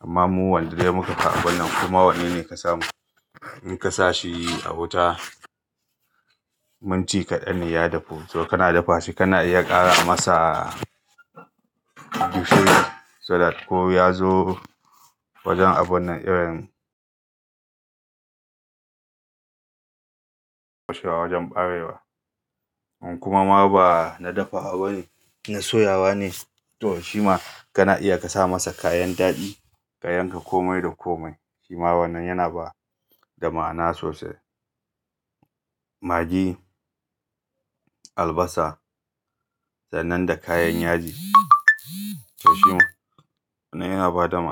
Amma mu wanda dai muka fi abun nan kuma wannan ne ka samu. In ka sa shi a wuta, mun ci kaɗan ne ya dafu. To kana dafa shi kana iya ƙara masa gishiri saboda ko ya zo wajen abun nan irin kashewa wajen ɓarewa. Kuma ma ba na dafa abu na soyawa ne, to shima kana iya ka sa masa kayan daɗi ka yanka komai da komai. Shima wannan yana ba da ma'ana sosai. Maggi, albasa, sannan da kayan yaji. To shima wannan yana ba da ma'ana.